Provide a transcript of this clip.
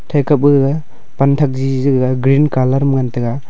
teke buge panthak jijiga green colour ma ngan teg.